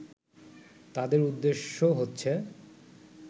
তাদের উদ্দেশ্য হচ্ছে